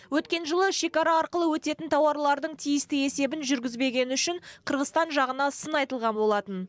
өткен жылы шекара арқылы өтетін тауарлардың тиісті есебін жүргізбегені үшін қырғызстан жағына сын айтылған болатын